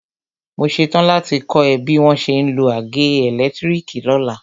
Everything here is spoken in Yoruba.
Mo ṣetán láti kọ́ ẹ bí wọ́n ṣe ń lo àgé ẹ̀lẹ́tírìkì lọ́la.